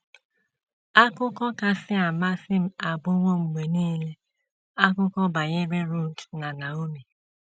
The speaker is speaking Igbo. “ Akụkọ kasị amasị m abụwo mgbe nile akụkọ banyere Rut na Naomi.